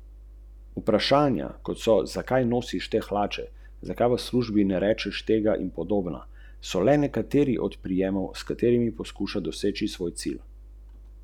Na družbo Framin je prenesel večinski delež družbe Pup Velenje in nepremičninsko družbo Ježa.